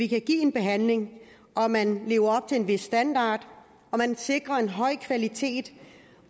kan give en behandling at man lever op til en vis standard og at man sikrer en høj kvalitet